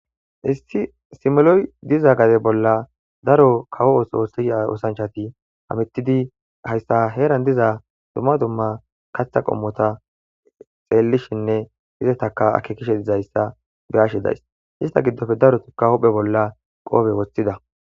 issi simeloy diza gade bolla daro kawo7osoossia osanchati hamittidi hayssa heeran diza dumma dumma katha qommota xeellishinne hizetaka akke kishe dizayssa be ashe days ista giddofe darotikka huphe bolla qoobe woshthida